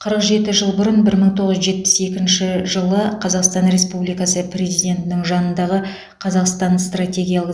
қырық жеті жыл бұрын бір мың тоғыз жүз жетпіс екінші жылы қазақстан республикасы президентінің жанындағы қазақстан стратегиялы